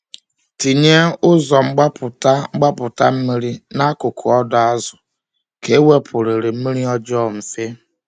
Tinye ụzọ mgbapụta mgbapụta mmiri n’akụkụ ọdọ azụ ka ewepụrịrị mmiri ọjọọ mfe.